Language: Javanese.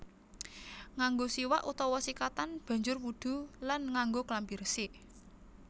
Nganggo siwak utawa sikatan banjur wudhu lan nganggo klambi resik